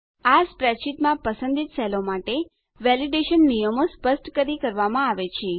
આ સ્પ્રેડશીટમાં પસંદિત સેલો માટે વેલીડેશન માન્યતા નિયમો સ્પષ્ટ કરી કરવામાં આવે છે